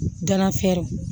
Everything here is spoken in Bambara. Ganafɛrɛnw